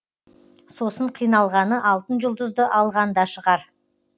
сосын қиналғаны алтын жұлдызды алғанда шығар